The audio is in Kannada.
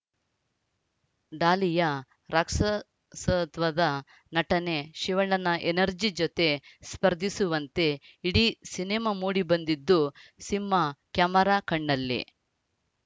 ಡಾಲಿಯ ರಾಕ್ಷಸತ್ವದ ನಟನೆ ಶಿವಣ್ಣನ ಎನರ್ಜಿ ಜತೆ ಸ್ಪರ್ಧಿಸುವಂತೆ ಇಡೀ ಸಿನಿಮಾ ಮೂಡಿ ಬಂದಿದ್ದು ಸಿಂಹ ಕ್ಯಾಮೆರಾ ಕಣ್ಣಲ್ಲಿ